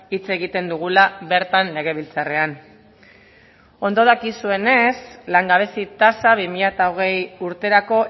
hitz egiten dugula bertan legebiltzarrean ondo dakizuenez langabezi tasa bi mila hogei urterako